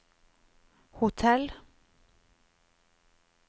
hotell